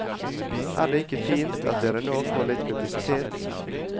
Er det ikke fint at dere nå får litt publisitet?